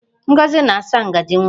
Ngozi ga-asa ngaji nwa